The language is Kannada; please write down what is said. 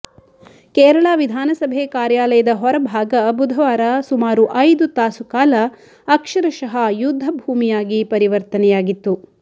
ಕೇರಳ ವಿಧಾನಸಭೆ ಕಾರ್ಯಾಲಯದ ಹೊರಭಾಗ ಬುಧವಾರ ಸುಮಾರು ಐದು ತಾಸು ಕಾಲ ಅಕ್ಷರಶಃ ಯುದ್ಧಭೂಮಿಯಾಗಿ ಪರಿವರ್ತನೆಯಾಗಿತ್ತು